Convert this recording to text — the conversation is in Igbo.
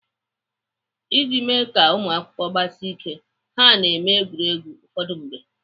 Iji mee ka ụmụakwụkwọ gbasie ike, ha na-eme egwuregwu ụfọdụ mgbe.